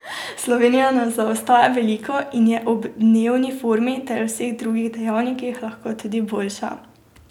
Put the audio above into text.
Slovenija ne zaostaja veliko in je ob dnevni formi ter vseh drugih dejavnikih lahko tudi boljša.